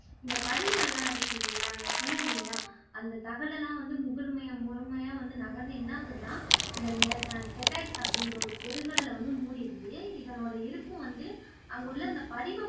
இந்த படிவுகள்லாம் இருக்கில்லைங்களா நீங்க சொன்னிங்கயில்லையா அந்த தகடெல்லாம் வந்து முதுற்மைய முதன்மையா வந்து நகர்ந்து என்னாகுதுன்னா இந்த நெர் அஹ் அப்படிங்குற ஒரு பெருங்கடலை வந்து மூடீருது இதனோட இருப்பு வந்து அங்குள்ள அந்த படிவம்